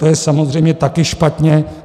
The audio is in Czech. To je samozřejmě taky špatně.